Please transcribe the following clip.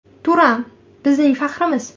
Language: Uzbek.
Turan – bizning faxrimiz.